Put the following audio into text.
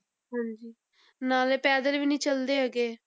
ਹਾਂਜੀ ਨਾਲੇ ਪੈਦਲ ਵੀ ਨੀ ਚੱਲਦੇ ਹੈਗੇ।